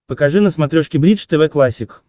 покажи на смотрешке бридж тв классик